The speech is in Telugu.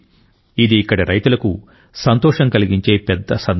ఇది ఇక్కడి రైతులకు సంతోషం కలిగించే పెద్ద సందర్భం